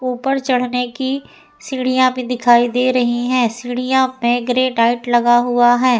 ऊपर चढ़ने की सीढ़ियां भी दिखाई दे रही हैं। सीढ़ियों में ग्रेनाइट लगा हुआ है।